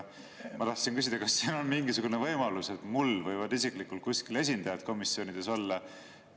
Ma tahtsin küsida, et kas on mingisugune võimalus, et mul võivad isiklikult kuskil esindajad komisjonides olla.